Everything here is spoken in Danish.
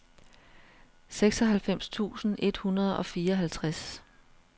seksoghalvfems tusind et hundrede og fireoghalvtreds